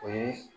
O ye